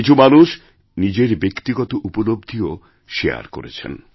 কিছু মানুষ নিজেরব্যক্তিগত উপলব্ধিও শেয়ার করেছেন